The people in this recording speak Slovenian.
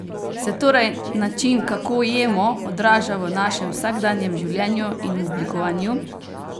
Se torej način kako jemo, odraža v našem vsakdanjem življenju in v oblikovanju?